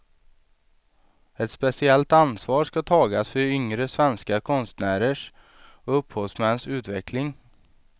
Ett speciellt ansvar skall tagas för yngre svenska konstnärers och upphovsmäns utveckling.